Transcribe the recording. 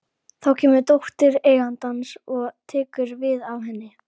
Þá kemur dóttir eigandans og tekur við af henni.